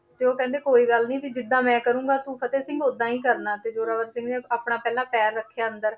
ਤੇ ਉਹ ਕਹਿੰਦੇ ਕੋਈ ਗੱਲ ਨੀ ਵੀ ਜਿੱਦਾਂ ਮੈਂ ਕਰਾਂਗਾ ਤੂੰ ਫ਼ਤਿਹ ਸਿੰਘ ਓਦਾਂ ਹੀ ਕਰਨਾ ਤੇ ਜੋਰਾਵਰ ਸਿੰਘ ਨੇ ਆਪਣਾ ਪਹਿਲਾਂ ਪੈਰ ਰੱਖਿਆ ਅੰਦਰ